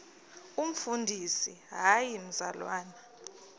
umfundisi hayi mzalwana